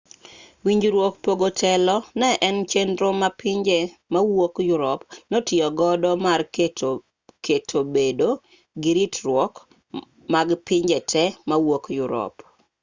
winjruok pogo telo ne en chenro ma pinje mawuok yurop notiyogodo mar keto bedo giritruok mag pinje te mawuok yurop